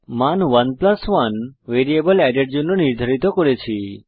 মান 11 variable add এর জন্য নির্ধারিত করেছি